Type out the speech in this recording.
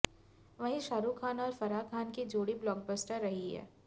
वहीं शाहरूख खान और फराह खान की जोड़ी ब्लॉकबस्टर रही है